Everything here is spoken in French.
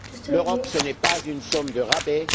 L'Europe, ce n'est pas une somme de rabais.